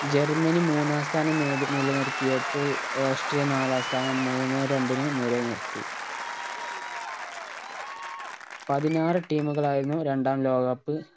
Germany മൂന്നാം സ്ഥാനം നേടി നിലനിർത്തിയപ്പോൾ ഓസ്ട്രിയ നാലാം സ്ഥാനം മൂന്നേ രണ്ടിന് നിലനിർത്തി പതിനാറ് team കളായിരുന്നു രണ്ടാം ലോക cup